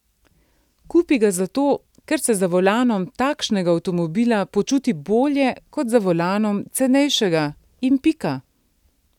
Kupi ga zato, ker se za volanom takšnega avtomobila počuti bolje kot za volanom cenejšega in pika.